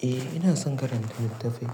Eh ina son karanta littafai,